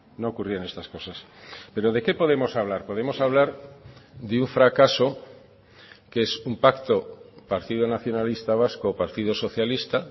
no ocurrían estas cosas pero de qué podemos hablar podemos hablar de un fracaso que es un pacto partido nacionalista vasco partido socialista